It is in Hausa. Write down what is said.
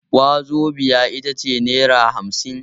Wazobiya ita ce nera hamsin.